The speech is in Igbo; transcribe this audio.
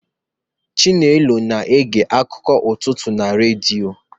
Chinelo na-ege akụkọ ụtụtụ na redio